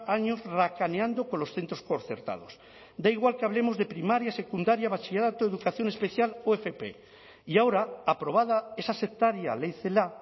años racaneando con los centros concertados da igual que hablemos de primaria secundaria bachillerato educación especial o fp y ahora aprobada esa sectaria ley celaá